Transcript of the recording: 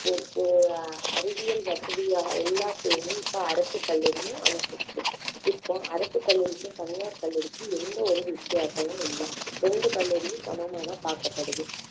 இப்போ ஆஹ் அறிவியல் வசதி எல்லாத்தையுமே இப்போ அரசு பள்ளிகளிலும் அமைச்சாச்சு இப்போ அரசு பள்ளிகளுக்கும் தனியார் பள்ளிகளுக்கும் எந்த ஒரு வித்தியாசமும் இல்லை இரண்டு பள்ளிகளும் சமமா தான் பார்க்கப்படுது